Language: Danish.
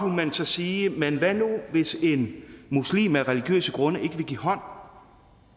man så sige men hvad nu hvis en muslim af religiøse grunde ikke vil give hånd hånd